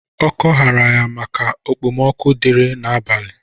Ọkọ hara ya maka ekpemoku dịrị na abalị.